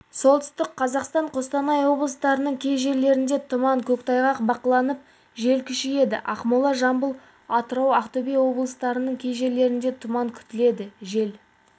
солтүстік қазақстан қостанай облыстарының кей жерлерінде тұман көктайғақ бақыланып жел күшейеді ақмола жамбыл атырау ақтөбе облыстарының кей жерлерінде тұман күтіледі жел